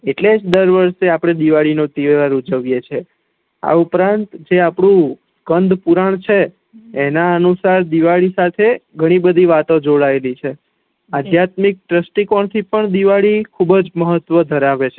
એટલે જ આપડે દરવર્ષે દિવાળી નો તેહવારઉજવી એ છે આ ઉપરાંત જે આપેડુ કંદ પુરણ છે એના અનુસાર દિવાળી સાથે ગણી બધી વાતો જોડાયેલી છે અધ્યાત્મિક ધ્રસ્તી કોણ થી પણ દિવાળી ખુબજ મહત્વ ધેરાવે છે